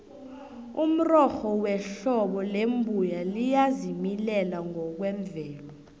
umrorho wehlobo lembuya liyazimilela ngokwemvelo